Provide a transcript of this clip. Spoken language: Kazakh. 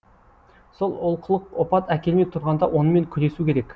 сол олқылық опат әкелмей тұрғанда онымен күресу керек